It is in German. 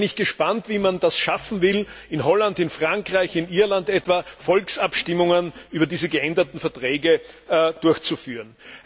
Da bin ich gespannt, wie man das schaffen will, etwa in Holland, in Frankreich, in Irland Volksabstimmungen über diese geänderten Verträge durchzuführen.